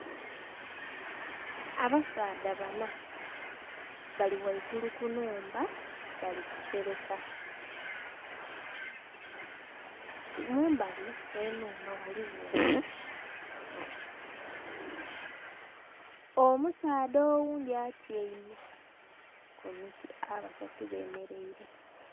abasaadha bana bali ghaigulu kunhumba bali kusereka. Mumbali ghenhumba ghaligho omuti. Omusaadha oghundhi atyaime ku muti abasatu bemereire.